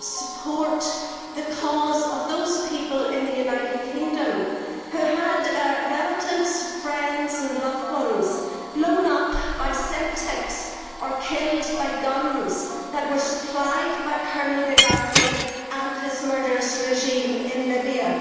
support the cause of those people in the United Kingdom who had relatives, friends and loved ones blown up by Semtex or killed by guns that were supplied by Colonel Gaddafi and his murderous regime in Libya.